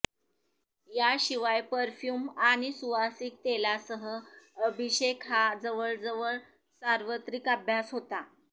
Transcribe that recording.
याशिवाय परफ्यूम आणि सुवासिक तेलांसह अभिषेक हा जवळजवळ सार्वत्रिक अभ्यास होता